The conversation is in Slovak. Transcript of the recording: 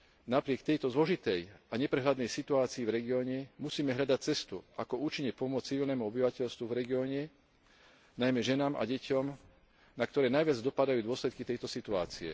Napriek tejto zložitej a neprehľadnej situácii v regióne musíme hľadať cestu, ako účinne pomôcť civilnému obyvateľstvu v regióne, najmä ženám a deťom, na ktoré najviac dopadajú dôsledky tejto situácie.